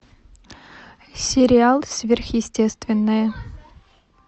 сериал сверхъестественное